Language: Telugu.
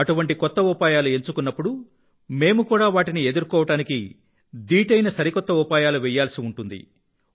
అటువంటి కొత్త ఉపాయాలు ఎంచుకొన్నప్పుడు మేము కూడా వాటిని ఎదుర్కోడానికి దీటైన సరికొత్త ఉపాయాలు వేయాల్సి వస్తుంది